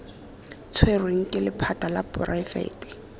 tshwerweng ke lephata la poraefete